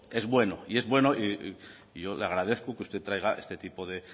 es bueno y es bueno y yo le agradezco que usted traiga este tipo de